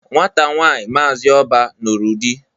Nwata nwaanyị Maazi Oba nụrụ di.